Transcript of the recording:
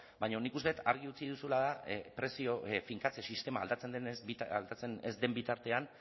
baina nik uste dut argi utzi duzuna da prezio finkatze sistema aldatzen ez den bitartean